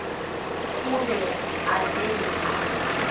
o be a fele a